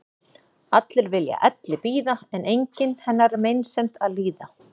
Allir vilja elli bíða en enginn hennar meinsemd að líða.